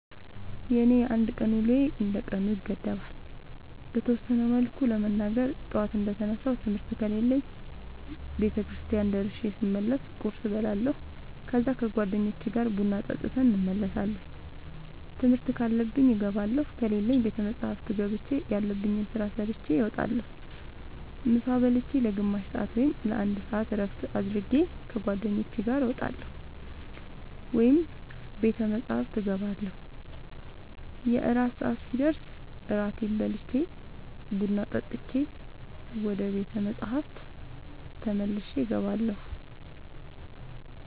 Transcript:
የኔ የአንድ ቀን ውሎዬ እንደ ቀኑ ይገደባል። በተወሰነ መልኩ ለመናገር ጠዋት እንደ ተነሳሁ ትምህርት ከሌለብኝ ቤተክርስቲያን ደርሼ ስመለስ ቁርስ እበላለሁ ከዛ ከ ጓደኞቼ ጋር ቡና ጠጥተን እንመለሳለን ትምህርት ካለብኝ እገባለሁ ከሌለብኝ ቤተ መፅሐፍ ገብቼ ያለብኝን ስራ ሰርቼ እወጣለሁ። ምሳ ብልቼ ለ ግማሽ ሰአት ወይም ለ አንድ ሰአት እረፍት አድርጌ ከ ጓደኞቼ ጋር እወጣለሁ ወይም ቤተ መፅሐፍ እገባለሁ። የእራት ሰአት ሲደርስ እራቴን በልቼ ቡና ጠጥቼ ወደ ቤተ መፅሐፍ ተመልሼ እገባለሁ።